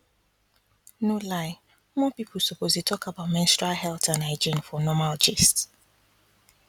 no lie more people suppose dey talk about menstrual health and hygiene for normal gist